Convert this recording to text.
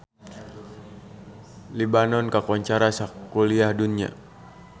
Libanon kakoncara sakuliah dunya